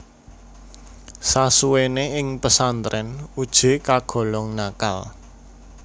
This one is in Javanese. Sasuwene ing pesantren Uje kagolong nakal